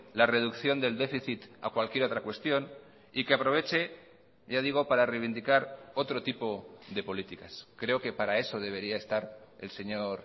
la reducción del déficit a cualquier otra cuestión y que aproveche ya digo para reivindicar otro tipo de políticas creo que para eso debería estar el señor